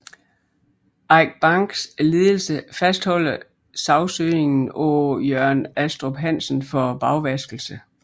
Eik Banks ledelse fastholder sagsøgningen af Jørn Astrup Hansen for bagvaskelse